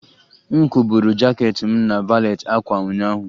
M kwụgburu jaket m na valet ákwà ụnyaahụ